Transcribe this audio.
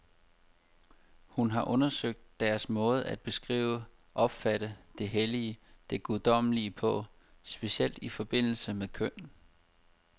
Hun har undersøgt deres måde at beskrive, opfatte det hellige, det guddommelige på, specielt i forbindelse med køn.